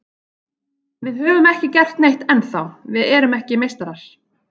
Við höfum ekki gert neitt ennþá, við erum ekki meistarar.